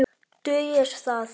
Dugir það?